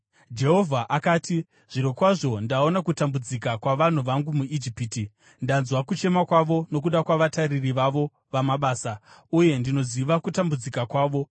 Jehovha akati, “Zvirokwazvo ndaona kutambudzika kwavanhu vangu muIjipiti. Ndanzwa kuchema kwavo nokuda kwavatariri vavo vamabasa, uye ndinoziva kutambudzika kwavo.